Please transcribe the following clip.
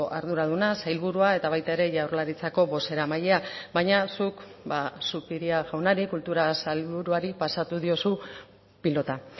arduraduna sailburua eta baita ere jaurlaritzako bozeramailea baina zuk zupiria jaunari kultura sailburuari pasatu diozu pilota